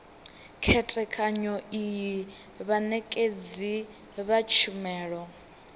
khethekanyo iyi vhanekedzi vha tshumelo